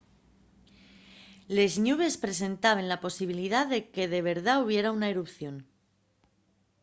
les ñubes presentaben la posibilidá de que de verdá hubiera una erupción